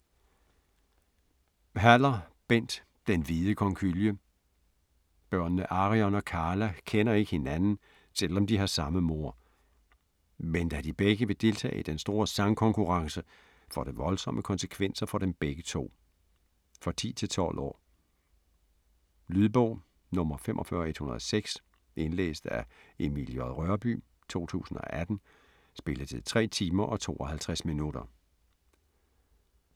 Haller, Bent: Den hvide konkylie Børnene Arion og Carla kender ikke hinanden, selv om de har samme mor. Men da de begge vil deltage i den store sangkonkurrence får det voldsomme konsekvenser for dem begge to. For 10-12 år. Lydbog 45106 Indlæst af Emil J. Rørbye, 2018. Spilletid: 3 timer, 52 minutter.